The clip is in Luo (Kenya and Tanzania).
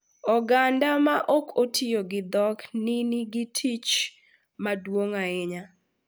Oganda ma ok otiyo gi dhok ni nigi tich maduong’ ahinya .